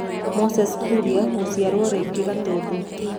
Moses kuria gũcagũrwo rĩngĩ Gatũndũ